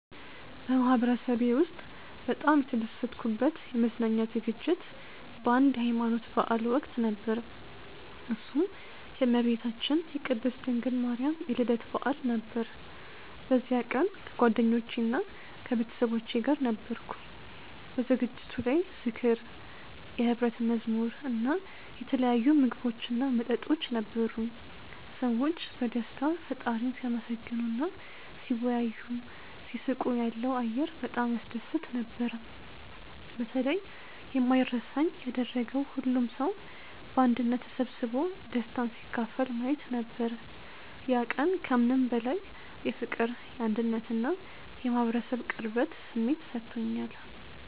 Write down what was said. በማህበረሰቤ ውስጥ በጣም የተደሰትኩበት የመዝናኛ ዝግጅት በአንድ የሀይማኖት በዓል ወቅት ነበር፤ እሱም የእመቤታችን የቅድስት ድንግል ማርያም የልደት በዓል ነበር። በዚያ ቀን ከጓደኞቼና ከቤተሰቦቼ ጋር ነበርኩ። በዝግጅቱ ላይ ዝክር፣ የሕብረት መዝሙር እና የተለያዩ ምግቦችና መጠጦች ነበሩ። ሰዎች በደስታ ፈጣሪን ሲያመሰግኑ እና ሲወያዩ፣ ሲስቁ ያለው አየር በጣም ያስደስት ነበር። በተለይ የማይረሳኝ ያደረገው ሁሉም ሰው በአንድነት ተሰብስቦ ደስታን ሲካፈል ማየት ነበር። ያ ቀን ከምንም በላይ የፍቅር፣ የአንድነት እና የማህበረሰብ ቅርበት ስሜት ሰጥቶኛል።